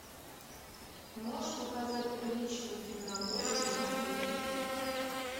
можешь показать приличную киноработу жанр боевик